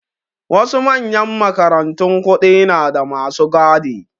Wasu manyan makarantun kuɗi nada masu gadi